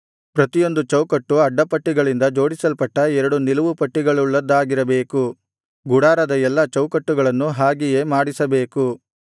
ಪ್ರತಿಯೊಂದು ಚೌಕಟ್ಟು ಅಡ್ಡಪಟ್ಟಿಗಳಿಂದ ಜೋಡಿಸಲ್ಪಟ್ಟ ಎರಡು ನಿಲುವು ಪಟ್ಟಿಗಳುಳ್ಳದ್ದಾಗಿರಬೇಕು ಗುಡಾರದ ಎಲ್ಲಾ ಚೌಕಟ್ಟುಗಳನ್ನೂ ಹಾಗೆಯೇ ಮಾಡಿಸಬೇಕು